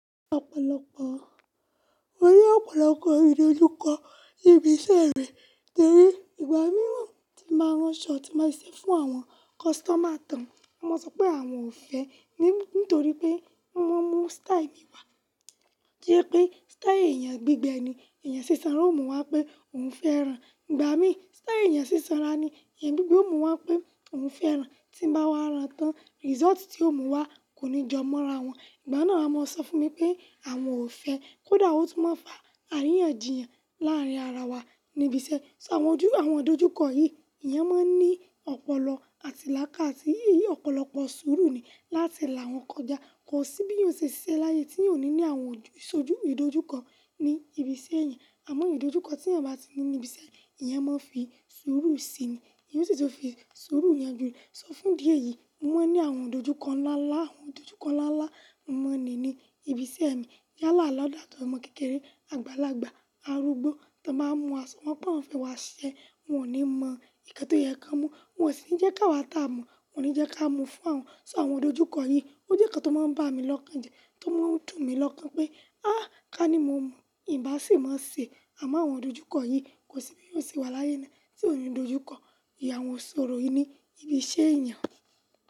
Ọ̀pọ̀lọpọ̀, mo rí ọ̀pọ̀lọpọ̀ ìdojúkọ ní ibi iṣẹ́ mi torí ìgbà mìíràn tí máa rán shot tí máa ṣe fún àwọn customer tán, wọ́n máa sọ pé àwọn ò fẹ́ nítorí pé wọ́n mú style mi wá, tí ó jẹ́ pé style èèyàn gbígbẹ ni, èèyàn sísanra ó mú wá pé òun fẹ́ rán. Ìgbà mí style èèyàn sísanra ni, èèyàn gbígbẹ ó mú wá pé òun fẹ́ rán, tí ń bá wá rán tán result tí ó mú wá kò ní jọ mọ́ ara wọn. Ìgbà náà wọ́n máa sọ fún mi pé àwọn ò fẹ́, kó dà wó tó máa ń fa àríyànjiyàn láàárín ara wa níbi iṣẹ́. So àwọn ojú, àwọn ìdojúkọ yìí èèyàn máa ń ní ọ̀pọ̀lọpọ̀ àti lákáàsí, èyí ọ̀pọ̀lọpọ̀ sùúrù ni láti là wọ́n kọjá. Kò sí bí eyan o ṣe ṣiṣẹ́ láyé tí eyan ò ní ní àwọn ìdojúkọ ní ibi iṣẹ́ èèyàn. Àmọ́ ìdojúkọ tí èèyàn bá ti ní níbi iṣẹ́ èèyàn, ìyẹn máa ń fi súúrù síi ni, ìyẹn sì tó fi súúrù ìyànjú re. Sọ fún díè yìí, mo máa ń ní àwọn ìdojúkọ ńlá ńlá, àwọn ìdojúkọ ńlá ńlá mo ní ní ibi iṣẹ́ mi. Yala lagba ató ọmọ kékeré, àgbàlagbà, arúgbó tí wọ́n bá mú a, ṣọ wọ́n pé wọ́n ò fẹ́ wá ṣẹ, wọ́n ò ní mọ ìkẹ́tọ̀ ìyẹ́kà mú, wọ́n sì ń jẹ́ ká wá tà mú, wọ́n ò ní jẹ́ ká mú fún wọn. So àwọn ìdojúkọ yìí, ó jẹ́ ǹkan tó máa ń bá mi lọ́kàn jẹ, tó máa ń dùn mi lọ́kàn pé ah! Ká ní mo mo, ìbá sì máa ṣe. Àmọ́ àwọn ìdojúkọ yìí kò sí bí eyó ò ṣe wà láyé náà tí ò ní ìdojúkọ, ìyàwó sọ̀rọ̀ yìí ni ibi iṣẹ́ èèyàn.